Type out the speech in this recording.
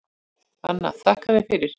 Anna: Þakka þér fyrir.